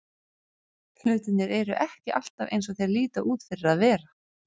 Hlutirnir eru ekki alltaf eins og þeir líta út fyrir að vera.